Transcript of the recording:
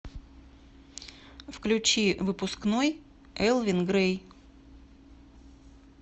включи выпускной элвин грей